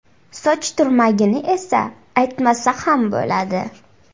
Soch turmagini esa aytmasa ham bo‘ladi.